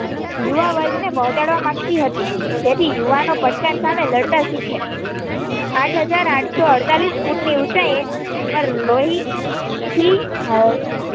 યુવા વર્ગને પહોંચાડવા માંગતી હતી જેથી યુવાનો પડકાર સામે લડતા શીખે આઠ હાજર આઠસો અડતાળીશ ફૂટ ની ઊંચાઈએ લોહી